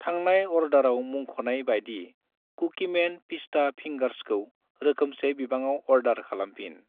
थांनाय अर्डाराव मुंख'नाय बायदि कुकिमेन पिस्ता फिंगार्सखौ रोखोमसे बिबाङाव अर्डार खालामफिन।